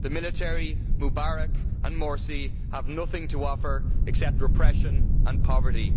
The military, Mubarak and Morsi have nothing to offer except repression and poverty.